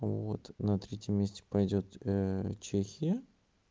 вот на третьем месте пойдёт чехия